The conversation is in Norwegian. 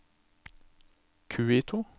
Quito